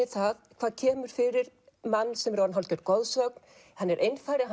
það hvað kemur fyrir mann sem er orðinn hálfgerð goðsögn hann er einfari